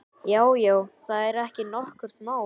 Já, já, það er ekki nokkurt mál.